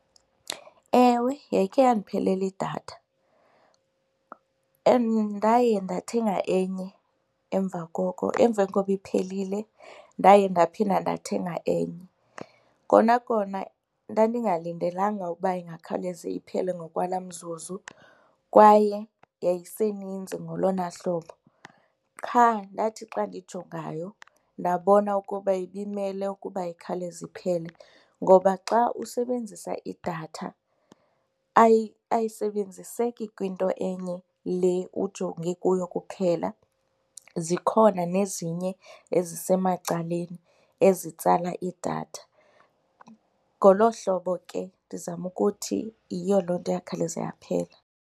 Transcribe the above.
Ewe, yayikhe yandiphelela idatha and ndaye ndathenga enye emva koko. Emveni koba iphelile ndaye ndaphinde ndathenga enye. Kona kona ndandingalindelanga ukuba ingakhawuleze iphele ngokwala mzuzu kwaye yayeseninzi ngolona hlobo qha ndathi xa ndijongayo ndabona ukuba ibimele ukuba ikhawuleze iphele ngoba xa usebenzisa idatha ayisebenziseki kwinto enye le ujonge kuyo kuphela, zikhona nezinye ezisemacaleni ezitsala idatha. Ngolo hlobo ke ndizama ukuthi yiyo loo nto yakhawuleza yaphela.